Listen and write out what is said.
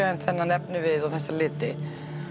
en þennan efnivið og þessa liti